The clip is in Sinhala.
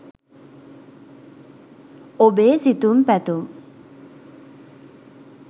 ඔබේ සිතුම් පැතුම්